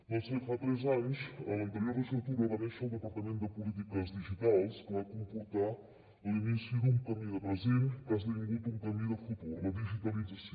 doncs bé fa tres anys en l’anterior legislatura va néixer el departament de polítiques digitals que va comportar l’inici d’un camí de present que ha esdevingut un camí de futur la digitalització